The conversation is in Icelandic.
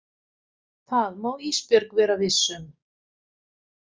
Það má Ísbjörg vera viss um.